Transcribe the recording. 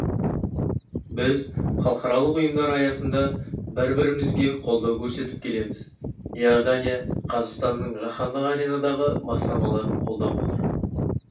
біз халықаралық ұйымдар аясында бір-бірімізге қолдау көрсетіп келеміз иордания қазақстанның жаһандық аренадағы бастамаларын қолдап отыр